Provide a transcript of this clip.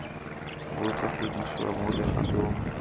bo tla godisiwa mo legatong